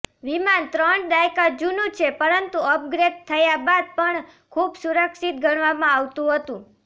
વિમાન ત્રણ દાયકા જૂનું છે પરંતુ અપગ્રેડ થયા બાદ પણ ખુબ સુરક્ષિત ગણવામાં આવતું હતું